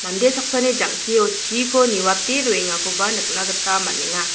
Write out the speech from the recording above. mande saksani jang·kio chiko niwate roengakoba nikna gita man·enga.